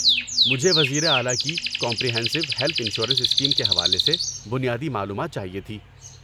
مجھے وزیر اعلی کی کمپریہینسو ہیلتھ انشورنس اسکیم کے حوالے سے بنیادی معلومات چاہیے تھی۔